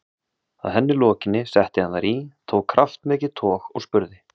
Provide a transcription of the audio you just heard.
Að henni lokinni setti hann þær í, tók kraftmikið tog og spurði